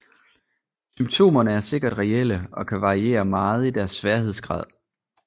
Symptomerne er sikkert reelle og kan variere meget i deres sværhedsgrad